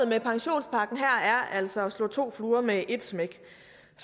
med pensionspakken her er altså at slå to fluer med et smæk